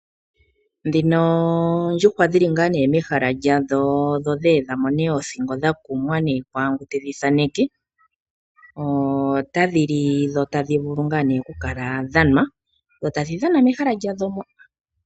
Ndhino oondjuhwa dhili ngaa nee mehalo lyadho dho dhayedhamo nee oothingo dha kumwa nee kwaangu tedhi thaaneke, otadhi li dho tadhi vulu ngaa nee kukala dhanwa dho tadhi dhana mehala dhalyo mo.